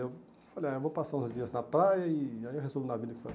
Eu falei, ah eu vou passar uns dias na praia e aí eu resolvo na vida o que fazer.